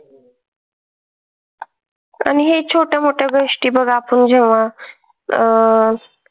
आणि हे छोटे मोठे गोष्टी मग आपण जेव्हा अं